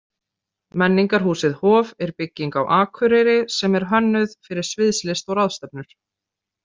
Menningarhúsið Hof er bygging á Akureyri sem er hönnuð fyrir sviðslist og ráðstefnur.